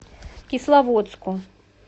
кисловодску